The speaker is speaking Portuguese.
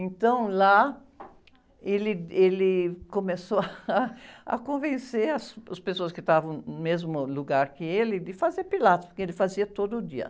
Então, lá, ele, ele começou ah, a convencer as, os pessoas que estavam no mesmo lugar que ele de fazer Pilates, porque ele fazia todo dia.